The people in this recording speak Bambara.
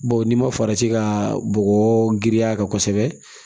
Bawo n'i ma farati ka bɔgɔ girinya a kan kosɛbɛ